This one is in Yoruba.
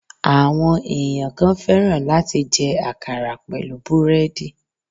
Àwọn èèyàn kan fẹ́ràn láti jẹ àkàrà pẹ̀lú búrèèdì